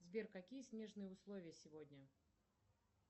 сбер какие снежные условия сегодня